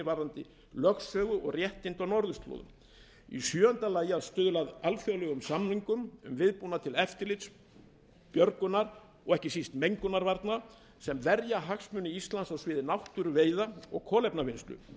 varðandi lögsögu og réttindi á norðurslóðum í sjöunda lagi að stuðla að alþjóðlegum samningum um viðbúnað til eftirlits björgunar og ekki síst mengunarvarna sem verja hagsmuni íslands á sviði náttúru veiða og kolefnavinnslu